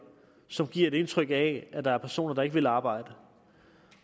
som giver et indtryk af at der er personer der ikke vil arbejde